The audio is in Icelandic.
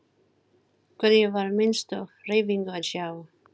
Hvergi var minnstu hreyfingu að sjá.